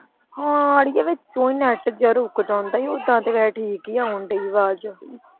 ਹਾਂ ਅੜੀਏ ਵਿੱਚ ਓਂ ਈ net ਜੇਹਾ ਰੁਕ ਜਾਂਦਾ ਈ ਓਦਾਂ ਤੇ ਵੈਹੇ ਠੀਕ ਆਉਣ ਦੀ ਆਵਾਜ਼।